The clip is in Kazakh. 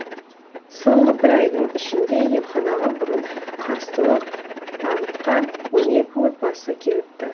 соңғы бір айдың ішінде емханаға бұрын қарсылық танытқан он екі отбасы келіпті